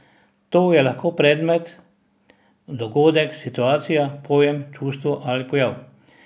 To je lahko predmet, dogodek, situacija, pojem, čustvo ali pojav.